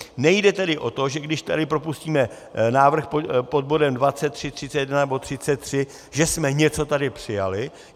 Nejde tedy o to, že když tady propustíme návrh pod bodem 23, 31 nebo 33, že jsme tady něco přijali.